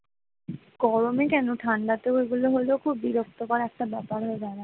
গরমে কেন ঠান্ডাও এগুলো হলে খুব বিরক্তকর ব্যাপার হয়ে দাঁড়ায়,